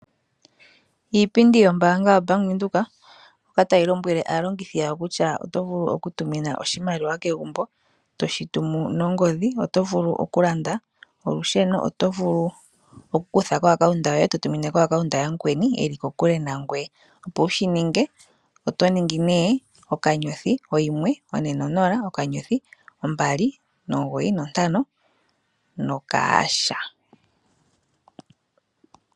Iipindi yombaanga yoBank Windhoek mono tayi lombwele aalongithi yawo kutya oto vulu oku tumina oshimaliwa kegumbo toshi tumu nongodhi, oto vulu okulanda olusheno, oto vulu oku kutha ko account yoye totumine ko account yamukweni eli kokule nangoye, opo wu shi ninge oto ningi nee: *140*295#